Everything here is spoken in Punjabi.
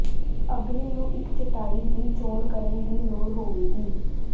ਅਗਲੇ ਨੂੰ ਇੱਕ ਚਟਾਈ ਦੀ ਚੋਣ ਕਰਨ ਦੀ ਲੋੜ ਹੋਵੇਗੀ